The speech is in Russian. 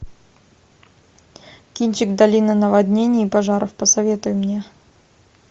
кинчик долина наводнений и пожаров посоветуй мне